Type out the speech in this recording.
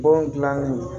Bɔn gilanni